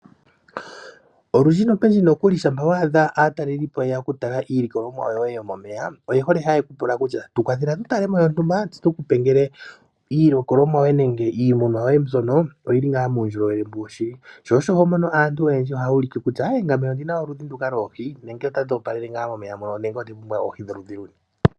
Olundji nopendji nokuli shampa wadha aatalelipo ye ya oku tala iilikolomwa yo ye yomomeya oye hole haye kupula kutya tukwathela tu talemo yontumba tse tukupe ngele iilikolomwa yoye nenge iimuna yo ye mbyono oyili ngaa muundjolowele shili. Sho osho homono aantu oyendji ohaya ulike kutya ngame ondina oludhi nduka loohi nenge otadhi opalele nga momeya mono nenge onda pumbwa oohi dholudhi luni.